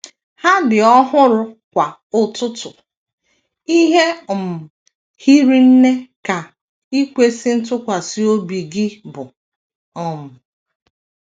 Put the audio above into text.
Ha dị ọhụrụ kwa ụtụtụ; ihe um hiri nne ka ikwesị ntụkwasị obi Gị bụ. um ”